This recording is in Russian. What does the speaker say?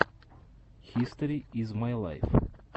хистори из май лайф